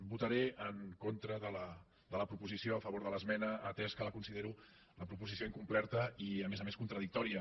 votaré en contra de la proposició a favor de l’esmena atès que la considero la proposi·ció incompleta i a més a més contradictòria